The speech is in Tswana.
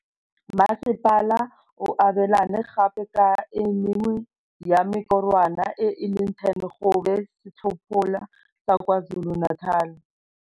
Masepala o abelane gape ka e mengwe ya mekorwana e le 10 go ba setlhopha sa KwaZulu-Natal.